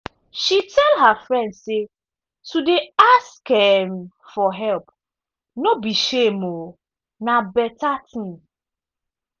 she tell her friend say to dey ask um for help no be shame um na better ting.